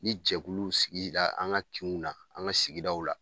Ni jɛkuluw sigi la an ka kinw na, an ka sigidaw la.